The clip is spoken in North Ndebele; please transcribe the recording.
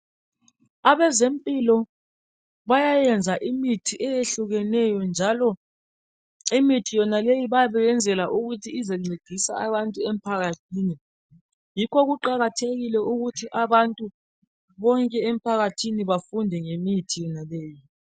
Abezempilakahle bayayenza imithi eyehlukeneyo njalo imithi yonaleyo bayabe beyenzela ukuthi izencedisa abantu emphakathini. Yikho kuqakathekile ukuthi abantu bonke emphakathini bafunde ngemithi yonaleyi.